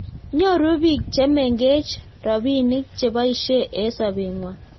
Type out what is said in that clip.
nyoruu biik chemengech robinik cheboishe eng sobengwai